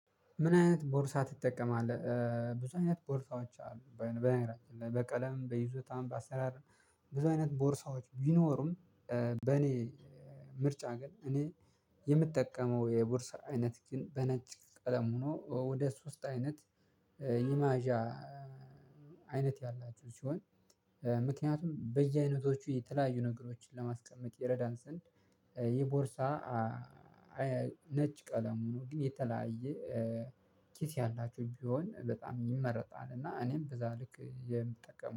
"ምን አይነት ቦርሳ ትጠቀማለህ?" ብዙ አይነት ቦርሳዎች አሉ። በቀለም፣ በይዞት፣ በአሰራር ብዙ አይነት ቦርሳዎች ቢኖሩም በእኔ ምርጫ ግን እኔ የምጠቀመው የቦርስ አይነት ግን በነጭ ቀለም ሆኖ ወደ ሶስት አይነት ኢማዣ አይነት ያላቸው ሲሆን ምክንያቱም በየአይነቶቹ የተለያዩ ነገሮችን ለማስቀመጥ ይረዳን ስንድ ይህ ቦርሳ ነጭ ቀለሙ ሁኖ ግን የተለያየ ኪስ ያላቸው ቢሆን በጣም ይመረጣል እና እኔም በዛ ልክ የምጠቀመው።